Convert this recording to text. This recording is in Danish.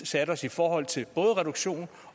sat os i forhold til både reduktion